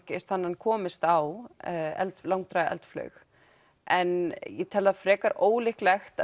hann komist á langdræga eldflaug en ég tel það frekar ólíklegt